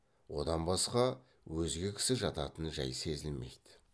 одан басқа өзге кісі жататын жай сезілмейді